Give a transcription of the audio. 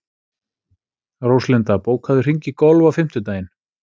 Róslinda, bókaðu hring í golf á fimmtudaginn.